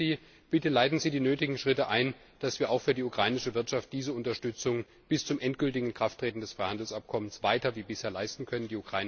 Ich bitte Sie Bitte leiten Sie die nötigen Schritte ein, dass wir auch für die ukrainische Wirtschaft diese Unterstützung bis zum endgültigen Inkrafttreten des Freihandelsabkommens weiter wie bisher leisten können.